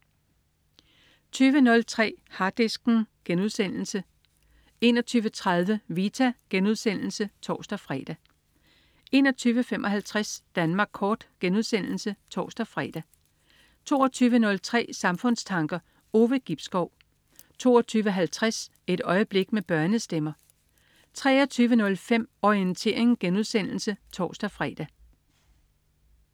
20.03 Harddisken* 21.30 Vita* (tors-fre) 21.55 Danmark kort* (tors-fre) 22.03 Samfundstanker. Ove Gibskov 22.50 Et øjeblik med børnestemmer 23.05 Orientering* (tors-fre)